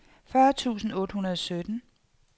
fyrre tusind otte hundrede og sytten